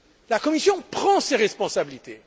La Commission prend ses responsabilités.